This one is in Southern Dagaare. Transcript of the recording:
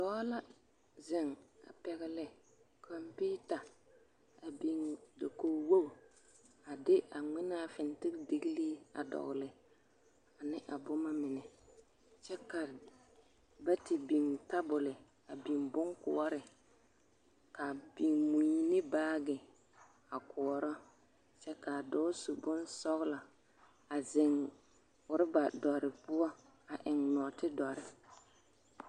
Dɔɔ la zeŋ a pɛgele kɔmpiita a biŋ dakogi wogi a de a ŋmenaa fintindigilii a dɔgele ane a boma mine kyɛ ka ba te biŋ tabol a biŋ boŋkoɔre a biŋ mui ne baagi a koɔrɔ kyɛ k'a dɔɔ su bonsɔgelɔ a zeŋ oreba dɔre poɔ a eŋ nɔɔte dɔre.